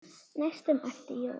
næstum æpti Jói.